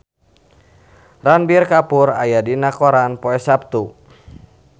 Ranbir Kapoor aya dina koran poe Saptu